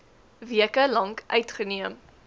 weke lank uitgeneem